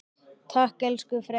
Takk elsku frændi.